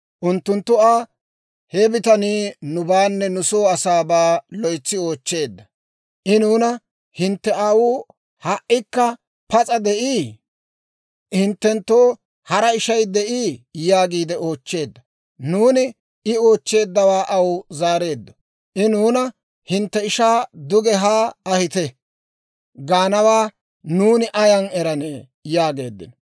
Unttunttu Aa, «He bitanii nubaanne nu soo asaabaa loytsi oochcheedda. I nuuna, ‹Hintte aawuu ha"ikka pas'a de'ii? hinttenttoo hara ishay de'ii?› yaagiide oochcheedda. Nuuni I oochcheeddawaa aw zaareeddo. I nuuna, ‹Hintte ishaa duge haa ahite› gaanawaa nuuni ayan eranee?» yaageeddino.